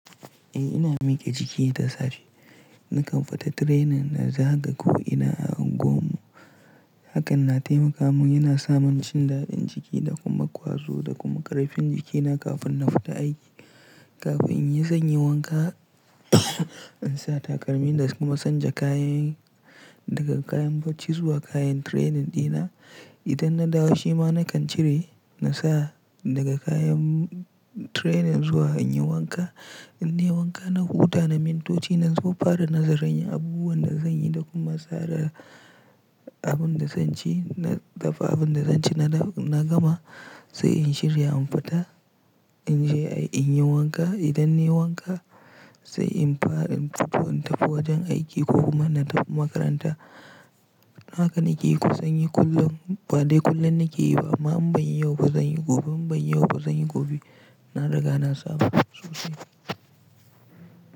Eh ina mike jiki da safe. Nakan fita training na zaga ko'ina a unguwarmu. Hakan na taimaka mun, yana saman jin daɗin jiki da kuma ƙwazo da kuma ƙarfin jikina kafin na fita aiki. Kafin in yi wanka in sa takalmi da kuma canja kayay daga kayan bacci zuwa kayan training dina. Idan na dawo shima nakan cire na sa daga kayan training zuwa in yi wanka. In nayi wanka na huta na mintoci na zo na fara nazarin abubuwan da zan yi da kuma tsara abin da zan ci, na dafa abin da zan ci na gama sai in shirya in fita. In je in yi wanka. Idan na yi wanka sai in fara in tafi wajen aiki ko kuma na tafi makaranta. Haka nake yi kusan yi kullum ba dai kullum nake yi ba. Amma in ban yi yau ba zan yi gobe. In ban yi yau ba zan yi gobe. Na riga na saba da su.